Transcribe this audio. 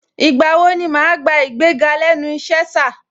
Ìgbà wo ni màá gbà igbéga lẹ́nu ìṣe, sà?